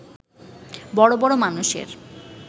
বড় বড় মানুষের